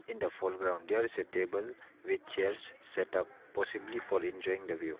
in the foreground there is a table with chairs setup possibly for enjoying the view.